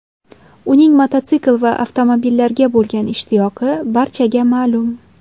Uning mototsikl va avtomobillarga bo‘lgan ishtiyoqi barchaga ma’lum.